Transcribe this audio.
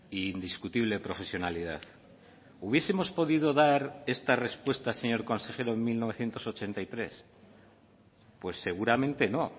e indiscutible profesionalidad hubiesemos podido dar esta respuesta señor consejero en mil novecientos ochenta y tres pues seguramente no